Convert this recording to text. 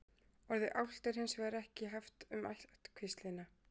orðið álft er hins vegar ekki haft um ættkvíslina